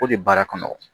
O de baara kɔnɔ